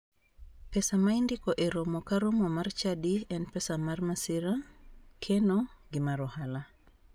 Pesa ma indiko e romo ka romo mar chadi en pesa mar masira, keno gi mar hola.